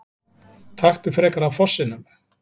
Taktu frekar af fossinum!